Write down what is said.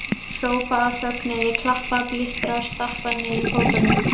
Hrópa af fögnuði, klappa, blístra og stappa niður fótunum!